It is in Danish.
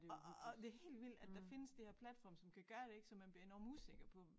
Og og og det helt vildt at der findes de her platforme som kan gøre det så man bliver enormt usikker på